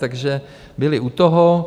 Takže byly u toho.